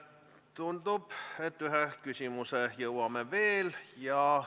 Tundub, et ühe küsimuse jõuame veel võtta.